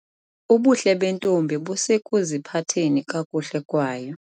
Ubuhle bentombi busekuziphatheni kakuhle kwayo.